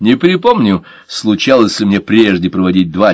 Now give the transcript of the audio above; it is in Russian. не припомню случалось ли мне прежде проводить два